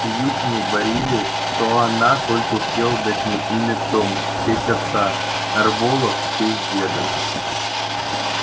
в приюте мне говорили что она только успела дать мне имя том в честь отца нарволо в честь деда